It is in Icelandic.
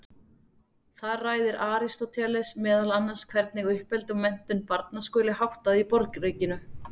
Þar ræðir Aristóteles meðal annars hvernig uppeldi og menntun barna skuli háttað í borgríkinu.